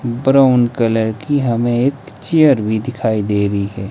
Brown colour की हमें एक चेयर भी दिखाई दे रही है।